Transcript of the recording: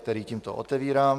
který tímto otevírám.